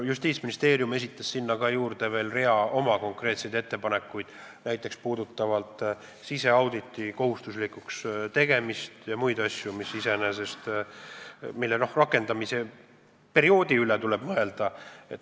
Justiitsministeerium esitas sinna juurde veel rea konkreetseid ettepanekuid siseauditi kohustuslikuks tegemise ja muude asjade kohta, mille rakendamise perioodi üle tuleb mõelda.